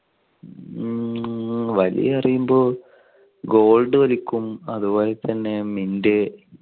വലി എന്ന് പറയുമ്പോൾ ഗോൾഡ് വലിക്കും, അതുപോലെ തന്നെ മിന്റ്